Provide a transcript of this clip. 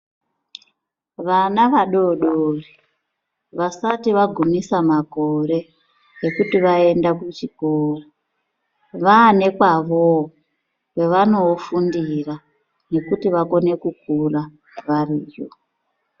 Vana vadodori vasati vagumisa makore ekuti vaende kuchikora vane kwavoo kwavano fundira nekuti vakone kukura variyo.